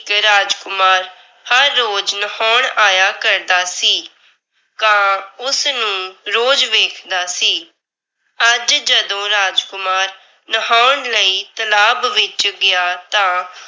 ਹਰ ਰੋਜ ਨਹਾਉਣ ਆਇਆ ਕਰਦਾ ਸੀ। ਕਾਂ ਉਸ ਨੂੰ ਰੋਜ਼ ਵੇਖਦਾ ਸੀ। ਅੱਜ ਜਦੋਂ ਰਾਜਕੁਮਾਰ ਨਹਾਉਣ ਲਈ ਤਲਾਬ ਵਿੱਚ ਗਿਆ ਤਾਂ